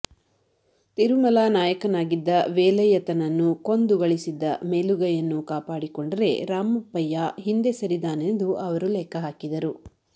ತಿರುಮಲ ನಾಯಕನಾಗಿದ್ದ ವೇಲಯ್ಯತನನ್ನು ಕೊಂದು ಗಳಿಸಿದ್ದ ಮೇಲುಗೈಯನ್ನು ಕಾಪಾಡಿಕೊಂಡರೆ ರಾಮಪ್ಪಯ್ಯ ಹಿಂದೆ ಸರಿದಾನೆಂದು ಅವರು ಲೆಕ್ಕ ಹಾಕಿದರು